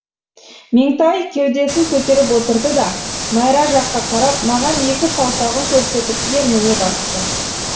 меңтай кеудесін көтеріп отырды да майра жаққа карап маған екі саусағын көрсетіп ерніне басты